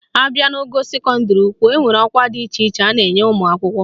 Abịa n'ogo sekọndịrị ukwu, enwere ọkwa dị iche iche a na-enye ụmụakwụkwọ